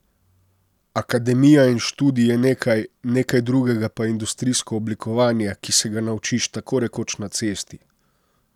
Akademija in študij je nekaj, nekaj drugega pa je industrijsko oblikovanje, ki se ga naučiš tako rekoč na cesti.